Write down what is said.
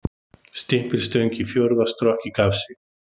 Stimpilstöng í fjórða strokki gaf sig